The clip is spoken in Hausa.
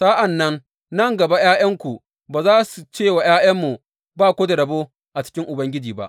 Sa’an nan, nan gaba ’ya’yanku ba za su ce wa ’ya’yanmu, Ba ku da rabo a cikin Ubangiji ba.’